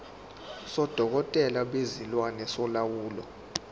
sodokotela bezilwane solawulo